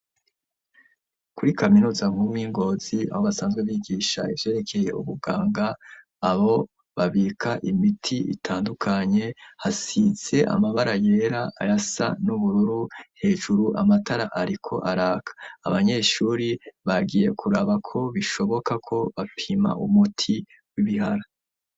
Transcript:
Kuri kaminuza nkuru yi Ngozi abo basanzwe bigisha ivyerekeye ubuganga abo babika imiti itandukanye hasitse amabara yera ayasa n'ubururu hejuru amatara ariko araka abanyeshuri bagiye kuraba ko bishoboka ko bapima umuti w'ibihara.